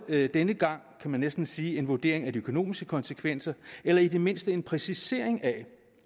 denne gang kan man næsten sige en vurdering af de økonomiske konsekvenser eller i det mindste en præcisering af